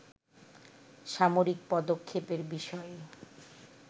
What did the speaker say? সামরিক পদক্ষেপের বিষয়ে